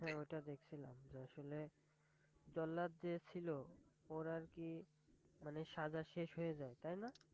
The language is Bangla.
হাঁ ওটা দেখছিলাম, যে আসলে জল্লাদ যে ছিল ওর আর কি মানে সাজা শেষ হয়ে যায় তাই না?